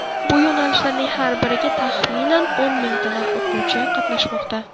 Bu yo‘nalishlarning har biriga taxminan o‘n mingtadan o‘quvchi qatnashmoqda.